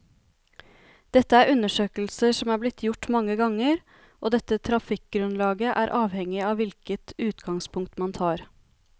Dette er undersøkelser som er blitt gjort mange ganger, og dette trafikkgrunnlaget er avhengig av hvilket utgangspunkt man tar.